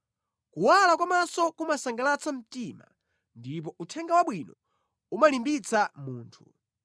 Kuwala kwa maso kumasangalatsa mtima ndipo uthenga wabwino umalimbitsa munthu.